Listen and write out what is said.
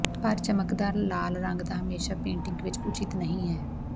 ਪਰ ਚਮਕਦਾਰ ਲਾਲ ਰੰਗ ਦਾ ਹਮੇਸ਼ਾ ਪੇਟਿੰਗ ਵਿੱਚ ਉਚਿਤ ਨਹੀ ਹੈ